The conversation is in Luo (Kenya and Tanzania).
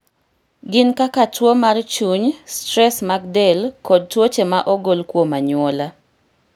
Gin kaka tuwo mar chuny, stress mag del, kod tuoche ma ogol kuom anyuola